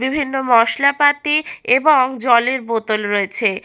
বিভিন্ন মশলাপাতি এবং জলের বোতল রয়েছে।